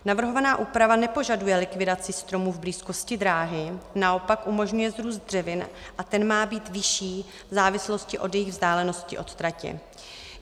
Navrhovaná úprava nepožaduje likvidaci stromů v blízkosti dráhy, naopak umožňuje vzrůst dřevin a ten má být vyšší v závislosti na jejich vzdálenosti od tratě.